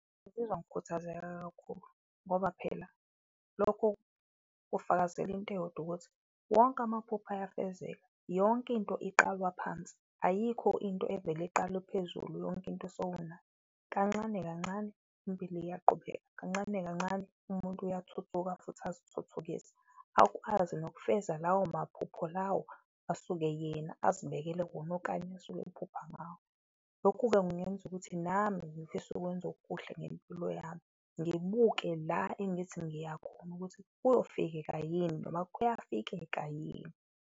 Ngizizwa ngikhuthazeka kakhulu ngoba phela lokho kufakazela into eyodwa ukuthi wonke amaphupho ayafezeka, yonke into iqalwa phansi ayikho into evele iqalwe ephezulu yonke into sowunayo. Kancane kancane impilo iyaqubeka, kancane kancane umuntu uyathuthuka futhi azithuthukise, akwazi nokufeza lawo maphupho lawo asuke yena azibekele wona okanye asuke ephupha ngawo. Lokhu-ke kungenza ukuthi nami ngifise ukwenza okuhle ngempilo yami, ngibuke la engithi ngiyakhona ukuthi kuyofikeka yini noma kuyafikeka yini.